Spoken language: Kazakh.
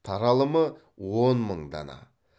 таралымы он мың дана